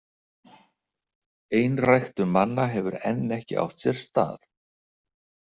Einræktun manna hefur enn ekki átt sér stað.